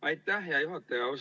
Aitäh, hea juhataja!